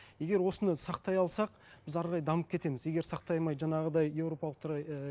егер осыны сақтай алсақ біз әрі қарай дамып кетеміз егер сақтай алмай жаңағыдай европалықтарға і